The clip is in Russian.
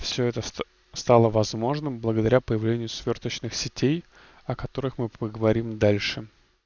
всё это ст стало возможным благодаря появлению сверхточных сетей о которых мы поговорим дальше